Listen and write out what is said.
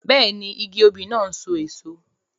Bẹ́ẹ̀ni, igi òbí náà n so èso